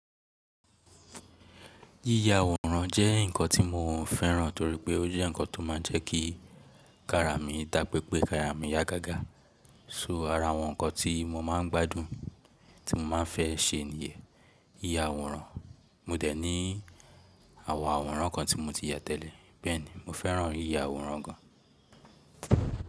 Yíya àwòrán jẹ́ nǹkan tí mo ò fẹ́ràn torí pé ó jẹ́ nǹkan tó máa ń jẹ́ kí kara mi dà pé pé kara mi yá gágà. So ara àwọn nǹkan tí mo máa ń gbádùn tí mo máa fẹ́ ṣe nìyẹn yíya àwòrán. Mo dẹ̀ ní àwòn àwòrán kan tí mo ti yà tẹ́lẹ̀. Bẹ́ẹ̀ni, mo fẹ́ràn yíya àwòrán gan.